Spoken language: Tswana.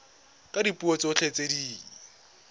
ka dipuo tsotlhe tse di